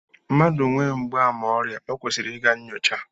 Mmadụ nwee mgbaàmà ọrịa, o kwesịrị ịga nnyocha